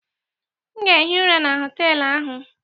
M ga-ehi ụra na họtelụ ahụ.